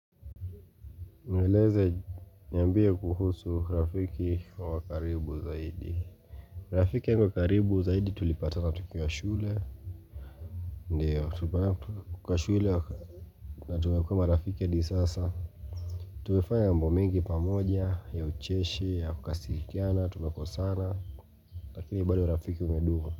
Mbeleze niambie kuhusu rafiki wa karibu zaidi Rafiki alio karibu zaidi tulipatana tukiwa shule Ndio, tulipatana kwa shule na tumekuwa marafiki hadi sasa tumefanya mambo mengi pamoja, ya ucheshi, ya kukasirikiana, tumekosana Lakini bado rafiki umedumu.